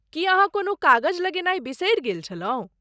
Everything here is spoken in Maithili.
की अहाँ कोनो कागज लगेनाय बिसरि गेल छलहुँ?